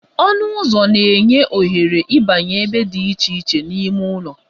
Ọnụ ụzọ na-enye ohere ịbanye ebe dị iche iche n'ime ụlọ